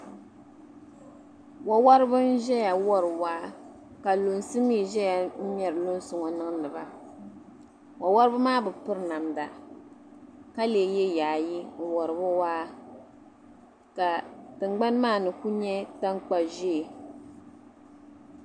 Wa wariba ʒiya wari waa ka lunsi mi ʒiya ŋmɛri lunsi niŋdi ba wa wariba maa bi piri namda ka leei ye yaayi wari waa ka tingbani maa kuli nyɛ tankpa'ʒee.